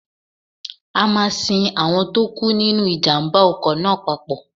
A máa sin àwọn tó kú nínu ìjàmbá ọkọ̀ náà papọ̀.